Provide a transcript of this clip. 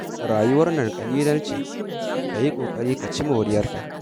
Rayuwar nan ƙalilan ce, ka yi ƙoƙari ka ci moriyarta